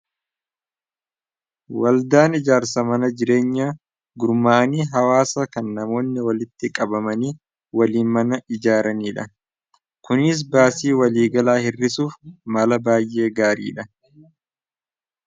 waldaan ijaarsa mana jireenya gurmaanii hawaasa kan namoonni walitti qabamanii waliin mana ijaaranii dha kunis baasii waliigalaa hirrisuuf mala baay'ee gaariidha